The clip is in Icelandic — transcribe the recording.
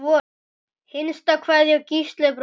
Hinsta kveðja, Gísli bróðir.